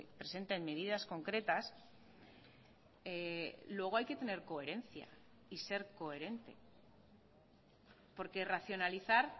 presenten medidas concretas luego hay que tener coherencia y ser coherente porque racionalizar